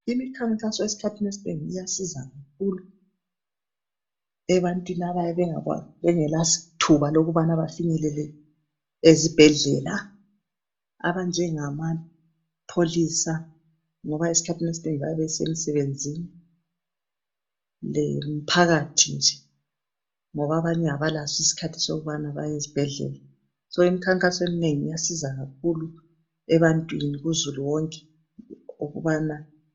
imikhankaso esikhani esinengi iyasiza kakhulu ebantwini abayabe bengela thuba lokubana bafinyelele ezibhedlela abanjengama pholisa ngoba isikhathi esinengi bayabe besemsebenzini lo mphakathi nje abanye abalaso isikhathi sokubana bayenze behleli so isikhathi esinengi kusiza kakhulu ebantwini ku zulu wonke ukubana